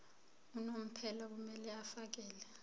unomphela kumele afakele